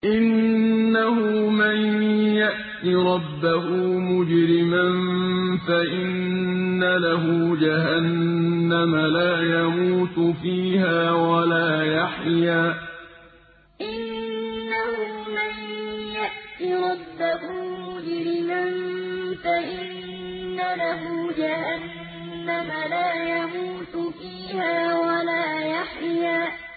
إِنَّهُ مَن يَأْتِ رَبَّهُ مُجْرِمًا فَإِنَّ لَهُ جَهَنَّمَ لَا يَمُوتُ فِيهَا وَلَا يَحْيَىٰ إِنَّهُ مَن يَأْتِ رَبَّهُ مُجْرِمًا فَإِنَّ لَهُ جَهَنَّمَ لَا يَمُوتُ فِيهَا وَلَا يَحْيَىٰ